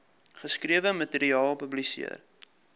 geskrewe materiaal publiseer